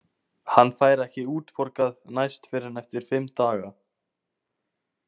Hann fær ekki útborgað næst fyrr en eftir fimm daga.